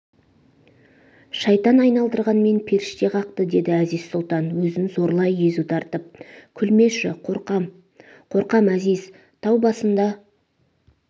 шайтан айналдырғанмен періште қақты деді әзиз сұлтан өзін зорлай езу тартып күлмеші қорқам қорқам әзиз тау басында